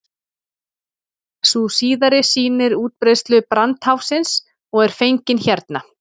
sú síðari sýnir útbreiðslu brandháfsins og er fengin hérna